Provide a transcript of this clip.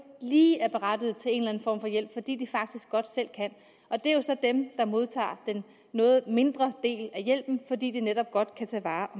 lige er berettiget til en form for hjælp fordi de faktisk godt selv kan og det er jo så dem der modtager en noget mindre del af hjælpen fordi de netop godt kan tage vare